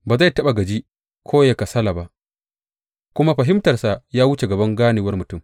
Ba zai taɓa gaji ko yă kasala ba, kuma fahimtarsa ya wuce gaban ganewar mutum.